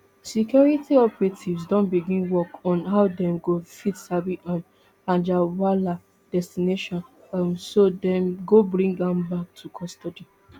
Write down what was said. security operatives don begin work on how dem go fit sabi um anjarwalla destination um so dem go bring am back to custody